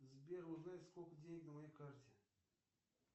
сбер узнай сколько денег на моей карте